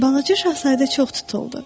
Balaca Şahzadə çox tutuldu.